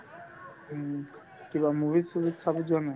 উম, কিবা movie চোভি চাব যোৱা নাই